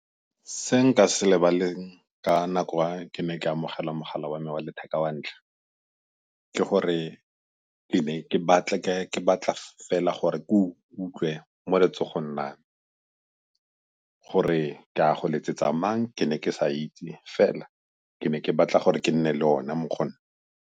Se nka se lebaleng ka nako wa ke ne ke amogela mogala wa me wa letheka wa ntlha, ke gore ke ne ke batla fela gore ke go utlwe mo letsogong la me. Gore ke a go letsetsa mang, ke ne ke sa itse fela ke ne ke batla gore ke nne le ona mo go nna.